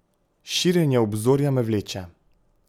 Širjenje obzorja me vleče.